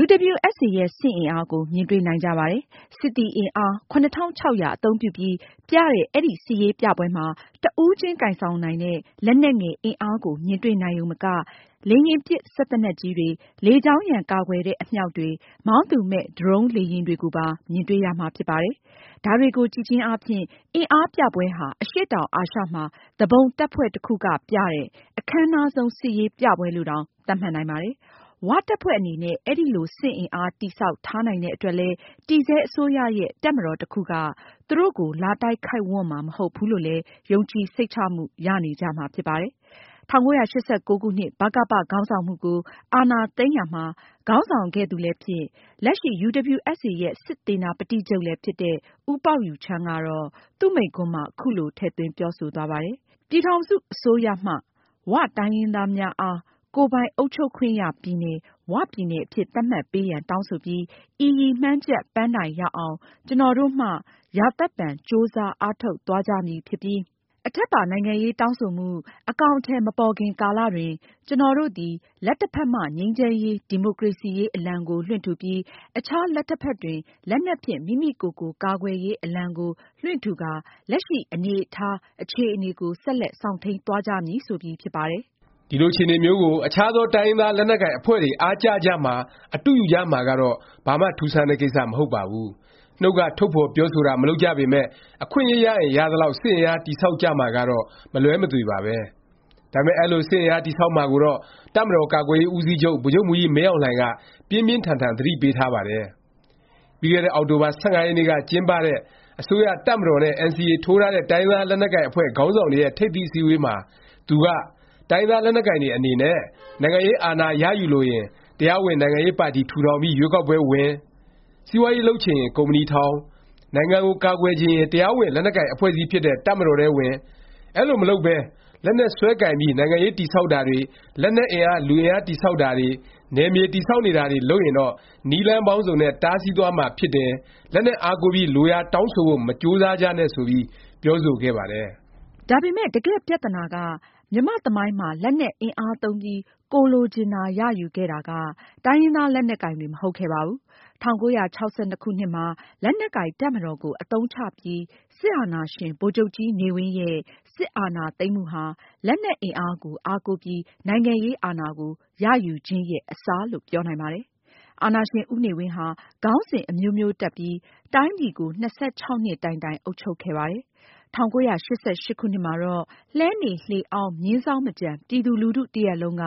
UWSA ရဲ့ စစ်အင်အားကို မြင်တွေ့နိုင်ကြပါတယ်။ စစ်သည် အင်အား ၇၆၀၀ အသုံးပြုပြီး ပြတဲ့ အဲဒီ စစ်ရေးပြပွဲမှာ တစ်ဦးချင်း ကိုင်ဆောင်နိုင်တဲ့ လက်နက်ငယ် အင်အားကို မြင်တွေ့နိုင်ရုံမက လေယာဉ်ပစ် စက်သေနတ်ကြီးတွေ၊ လေကြောင်းရန် ကာကွယ်တဲ့ အမြှောက်တွေ၊ မောင်းသူမဲ့ ဒရုန်း လေယာဉ်တွေကိုပါ မြင်တွေ့ရမှာ ဖြစ်ပါတယ်။ ဒါတွေကြည့်ခြင်းအားဖြင့် အင်အားပြပွဲဟာ အရှေ့တောင်အာရှမှာ သူပုန်တပ်ဖွဲ့တစ်ခုက ပြတဲ့ အခန်းနားဆုံး စစ်ရေးပြပွဲလို့တောင် သတ်မှတ်နိုင်ပါတယ်။ “ဝ” တပ်ဖွဲ့အနေနဲ့ အဲလို စစ်အင်အား တည်ဆောက်ထားနိုင်တဲ့အတွက်လည်း တည်ဆဲအစိုးရရဲ့ တပ်မတော် တစ်ခုက သူတို့ကို လာတိုက်ခိုက်ဝန့်မှာ မဟုတ်ဘူးလို့လည်း ယုံကြည်စိတ်ချမှု ရနေကြမှာ ဖြစ်ပါတယ်။ ၁၉၈၉ ခုနှစ် ဗကပ ခေါင်းဆောင်မှုကို အာဏာသိမ်းရာမှာ ခေါင်းဆောင်ခဲ့သူလည်းဖြစ်၊ လက်ရှိ UWSA ရဲ့ စစ်သေနာပတိချုပ် လည်းဖြစ်တဲ့ ဦးပေါက်ယိုချန်းကတော့ သူ့မိန့်ခွန်းမှာ ခုလို ထည့်သွင်း ပြောဆိုသွားပါတယ်။ “ပြည်ထောင်စုအစိုးရမှ “ဝ”တိုင်းရင်းသားများ အား ကိုယ်ပိုင်အုပ်ချုပ်ခွင့်ရပြည်နယ် 'ဝ'ပြည်နယ်အဖြစ် သတ်မှတ်ပေးရန် တောင်းဆိုပြီး ဤရည်မှန်းချက် ပန်းတိုင်ရောက်အောင် ကျွန်တော်တို့မှ ရာသက်ပန်ကြိုးစား အားထုတ်သွားကြမည်ဖြစ်ပြီး၊ အထက်ပါနိုင်ငံရေးတောင်းဆိုမှု အကောင်အထည်မပေါ်ခင်ကာလတွင် ကျွန်တော်တို့သည် လက်တဖက်မှ ငြိမ်းချမ်းရေး ဒီမိုကရေစီရေးအလံကိုလွှင့်ထူပြီး၊ အခြားလက်တဖက်တွင်လက်နက်ဖြင့် မိမိကိုယ်ကိုကာကွယ်ရေးအလံကို လွှင့်ထူကာ လက်ရှိအနေအထားအခြေအနေကို ဆက်လက်စောင့်ထိန်းသွားကြမည်။” ဆိုပြီး ဖြစ်ပါတယ်။ ဒီလို အခြေအနေမျိုးကို အခြားသော တိုင်းရင်းသား လက်နက်ကိုင် တပ်ဖွဲ့တွေ အားကျကြမှာ၊ အတုယူကြမှာကတော့ ဘာမှ ထူးဆန်းတဲ့ ကိစ္စ မဟုတ်ပါဘူး။ နှုတ်က ထုတ်ဖော်ပြောဆိုတာ မလုပ်ကြပေမယ့် အခွင့်အရေးရရင် ရသလောက် စစ်အင်အား တည်ဆောက်ကြမှာကတော့ မလွဲမသွေပါပဲ။ ဒါပေမယ့် အဲလို စစ်အင်အား တည်ဆောက်မှာကိုတော့ တပ်မတော် ကာကွယ်ရေး ဦးစီးချုပ် ဗိုလ်ချုပ်မှူးကြီး မင်းအောင်လှိုင်က ပြင်းပြင်းထန်ထန် သတိပေးထားပါတယ်။ ပြီးခဲ့တဲ့နှစ် အောက်တိုဘာ ၁၅ ရက်နေ့က ကျင်းပတဲ့ အစိုးရ၊ တပ်မတော်နဲ့ NCA ထိုးထားတဲ့ တိုင်းရင်းသား လက်နက်ကိုင်အဖွဲ့ ခေါင်းဆောင်တွေရဲ့ ထိပ်သီး အစည်းအဝေးမှာ သူက တိုင်းရင်းသား လက်နက်ကိုင် တွေ အနေနဲ့ နိုင်ငံရေးအာဏာ ရယူလိုရင် တရားဝင် နိုင်ငံရေးပါတီ ထူထောင်ပြီး ရွေးကောက်ပွဲဝင်၊ စီးပွားရေး လုပ်ချင်ရင် ကုမ္ပဏီထောင်၊ နိုင်ငံကို ကာကွယ်ချင်ရင် တရားဝင် လက်နက်ကိုင် အဖွဲ့အစည်းဖြစ်တဲ့ တပ်မတော်ထဲဝင် ၊ အဲလို မလုပ်ပဲ လက်နက်စွဲကိုင်ပြီး နိုင်ငံရေး တည်ဆောက်တာတွေ၊ လက်နက်အင်အား လူအင်အား တည်ဆောက်တာတွေ၊ နယ်မြေ တည်ဆောက်နေတာတွေ လုပ်ရင်တော့ နည်းလမ်းပေါင်းစုံနဲ့ တားဆီးသွားမှာ ဖြစ်တယ်၊ လက်နက်အားကိုးပြီး လိုရာတောင်းဆိုဖို့ မကြိုးစားကြနဲ့ ဆိုပြီး ပြောဆိုခဲ့ပါတယ်။ ဒါပေမယ့် တကယ့်ပြသနာက မြန်မာ့ သမိုင်းမှာ လက်နက်အင်အားသုံးပြီး ကိုယ်လိုချင်တာ ရယူခဲ့တာက တိုင်းရင်းသား လက်နက်ကိုင်တွေ မဟုတ်ခဲ့ပါဘူး။ ၁၉၆၂ ခုနှစ်မှာ လက်နက်ကိုင် တပ်မတော်ကို အသုံးချပြီး စစ်အာဏာရှင် ဗိုလ်ချုပ်ကြီးနေဝင်းရဲ့ စစ်အာဏာသိမ်းမှုဟာ လက်နက်အင်အားကို အားကိုးပြီး နိုင်ငံရေးအာဏာကို ရယူခြင်းရဲ့ အစလို့ ပြောနိုင်ပါတယ်။ အာဏာရှင် ဦးနေဝင်းဟာ ခေါင်းစဉ် အမျိုးမျိုးတပ်ပြီး တိုင်းပြည်ကို ၂၆ နှစ်တိုင်တိုင် အုပ်ချုပ်ခဲ့ပါတယ်။ ၁၉၈၈ ခုနှစ်မှာတော့ လှည်းနေလှေအောင်း မြင်းဇောင်းမကျန် ပြည်သူလူထု တစ်ရပ်လုံးက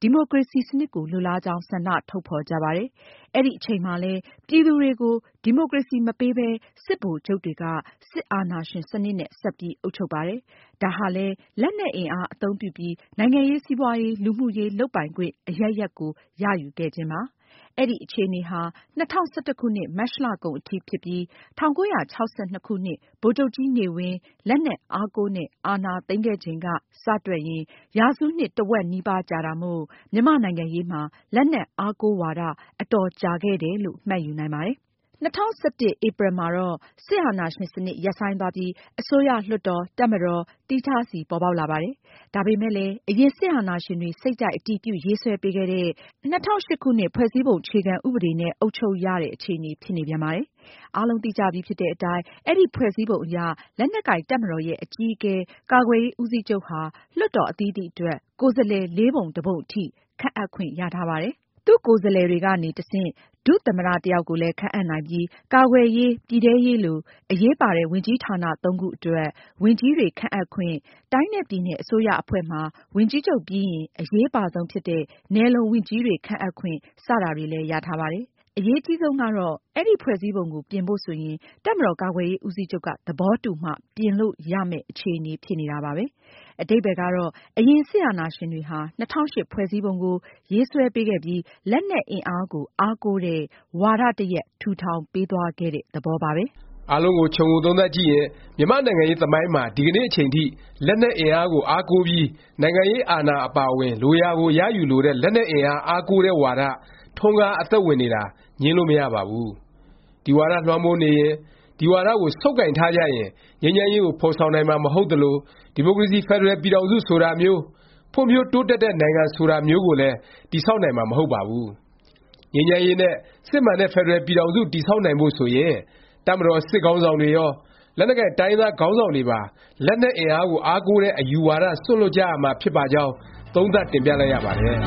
ဒီမိုကရေစီစနစ်ကို လိုလားကြောင်း ဆန္ဒထုတ်ဖော်ကြပါတယ်။ အဲဒီအချိန်မှာလည်း ပြည်သူတွေကို ဒီမိုကရေစီ မပေးပဲ စစ်ဗိုလ်ချုပ်တွေက စစ်အာဏာရှင် စနစ်နဲ့ ဆက်ပြီး အုပ်ချုပ်ပါတယ်။ ဒါဟာလည်း လက်နက်အင်အား အသုံးပြုပြီး နိုင်ငံရေး၊ စီးပွားရေး၊ လူမှုရေး လုပ်ပိုင်ခွင့် အရပ်ရပ်ကို ရယူခဲ့ခြင်းပါ။ အဲဒီ အခြေအနေဟာ ၂၀၁၁ မတ်လကုန်အထိ ဖြစ်ပြီး ၁၉၆၂ ခုနှစ် ဗိုလ်ချုပ်ကြီးနေဝင်း လက်နက်အားကိုးနဲ့ အာဏာသိမ်းခဲ့ချိန်က စတွက်ရင် ရာစုနှစ် တစ်ဝက်နီးပါး ကြာတာမို့ မြန်မာ့နိုင်ငံရေးမှာ လက်နက်အားကိုး ဝါဒ အတော်ကြာခဲ့တယ်လို့ မှတ်ယူနိုင်ပါတယ်။ ၂၀၁၁ ဧပြီမှာတော့ စစ်အာဏာရှင် စနစ် ရပ်ဆိုင်းသွားပြီး အစိုးရ၊ လွှတ်တော်၊ တပ်မတော် သီးခြားစီ ပေါ်ပေါက်လာပါတယ်။ ဒါပေမယ့်လည်း အရင် စစ်အာဏာရှင်တွေ စိတ်ကြိုက် အတည်ပြု ရေးဆွဲပေးခဲ့တဲ့ ၂၀၀၈ ခုနှစ် ဖွဲ့စည်းပုံနဲ့ အုပ်ချုပ်ရတဲ့ အခြေအနေ ဖြစ်နေပြန်ပါတယ်။ အားလုံးသိကြပြီဖြစ်တဲ့အတိုင်း အဲဒီ ဖွဲ့စည်းပုံအရ လက်နက်ကိုင် တပ်မတော်ရဲ့ အကြီးအကဲ ကာကွယ်ရေး ဦးစီးချုပ်ဟာ လွှတ်တော် အသီးသီးအတွက် ကိုယ်စားလှယ် လေးပုံတစ်ပုံ အထိ ခန့်အပ်ခွင့် ရထားပါတယ်။ သူ့ကိုယ်စားလှယ်တွေကနေ တဆင့် ဒုသမ္မတ တစ်ယောက်ကိုလည်း ခန့်အပ်နိုင်ပြီး ကာကွယ်ရေး၊ ပြည်ထဲရေးလို အရေးပါတဲ့ ဝန်ကြီးဌာန ၃ ခုအတွက် ဝန်ကြီးတွေ ခန့်အပ်ခွင့်၊ တိုင်းနဲ့ ပြည်နယ် အစိုးရအဖွဲ့မှာ ဝန်ကြီးချုပ်ပြီးရင် အရေးအပါဆုံးဖြစ်တဲ့ နယ်လုံဝန်ကြီးတွေ ခန့်အပ်ခွင့် စတာတွေလည်း ရထားပါတယ်။ အရေးအကြီးဆုံးကတော့ အဲဒီ ဖွဲ့စည်းပုံကို ပြင်ဖို့ ဆိုရင် တပ်မတော်ကာကွယ်ရေး ဦးစီးချုပ်က သဘောတူမှ ပြင်လို့ရမယ့် အခြေအနေ ဖြစ်နေတာပါပဲ။ အဓိပ္ပါယ်ကတော့ အရင် စစ်အာဏာရှင်တွေဟာ ၂၀၀၈ ဖွဲ့စည်းပုံကို ရေးဆွဲပေးခဲ့ပြီး လက်နက်အင်အားကို အားကိုးတဲ့ ဝါဒ တစ်ရပ် ထူထောင်ပေးသွားခဲ့တဲ့ သဘောပါပဲ။ အားလုံးကို ခြုံငုံသုံးသပ်ကြည့်ရင် မြန်မာ့နိုင်ငံရေးသမိုင်းမှာ ဒီကနေ့ အချိန်ထိ လက်နက်အင်အားကို အားကိုးပြီး နိုင်ငံရေးအာဏာ အပါအဝင် လိုရာကို ရယူလိုတဲ့ လက်နက်အင်အား အားကိုးတဲ့ ဝါဒ ထွန်းကား အသက်ဝင်နေတာ ငြင်းလို့ မရပါဘူး။ ဒီဝါဒလွှမ်းမိုးနေရင် ဒီဝါဒကို ဆုတ်ကိုင်ထားကြရင် ငြိမ်းချမ်းရေးကို ဖော်ဆောင်နိုင်မှာ မဟုတ်သလို၊ ဒီမိုကရေစီ ဖက်ဒရယ်ပြည်ထောင်စု ဆိုတာမျိုး၊ ဖွံ့ဖြိုးတိုးတက်တဲ့ နိုင်ငံ ဆိုတာမျိုးကိုလည်း တည်ဆောက်နိုင်မှာ မဟုတ်ပါဘူး။ ငြိမ်းချမ်းရေးနဲ့ စစ်မှန်တဲ့ ဖက်ဒရယ်ပြည်ထောင်စု တည်ဆောက်နိုင်ဖို့ဆိုရင် တပ်မတော် စစ်ခေါင်းဆောင်တွေရော၊ လက်နက်ကိုင် တိုင်းရင်းသား ခေါင်းဆောင်တွေပါ လက်နက်အင်အားကို အားကိုးတဲ့ အယူဝါဒ စွန့်လွှတ်ကြရမှာ ဖြစ်ပါကြောင်း သုံးသပ် တင်ပြလိုက်ရပါတယ်